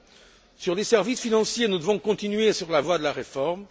G20. Concernant les services financiers, nous devons continuer sur la voie de la réforme.